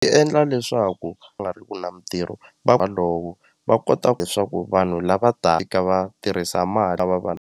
Ti endla leswaku va nga ri ku na mitirho walowo va kota ku leswaku vanhu lava fika va tirhisa mali lava .